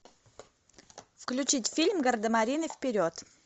включить фильм гардемарины вперед